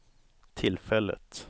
tillfället